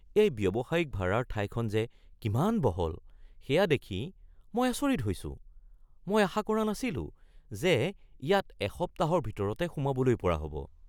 এই ব্যৱসায়িক ভাৰাৰ ঠাইখন যে কিমান বহল সেয়া দেখি মই আচৰিত হৈছোঁ। মই আশা কৰা নাছিলো যে ইয়াত এসপ্তাহৰ ভিতৰতে সোমাবলৈ পৰা হ’ব!